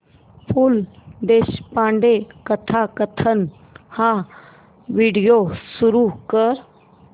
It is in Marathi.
पु ल देशपांडे कथाकथन हा व्हिडिओ सुरू कर